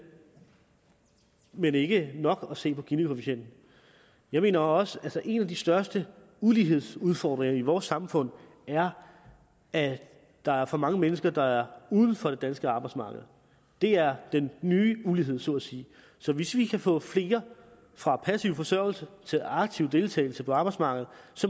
men det er ikke nok at se på ginikoefficienten jeg mener også at en af de største ulighedsudfordringer i vores samfund er at der er for mange mennesker der er uden for det danske arbejdsmarked det er den nye ulighed så at sige så hvis vi kan få flere fra passiv forsørgelse til aktiv deltagelse på arbejdsmarkedet